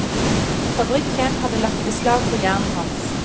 Fabrikken hadde lagt beslag på hjernen hans.